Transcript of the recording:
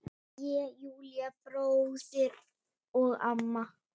Ég, Júlli bróðir og mamma.